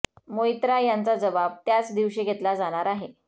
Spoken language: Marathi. मोईत्रा यांचा जबाब त्याच दिवशी घेतला जाणार आहे